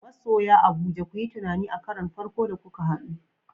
Masoya Abuja ku yi tunani a karon farko da kuka hadu.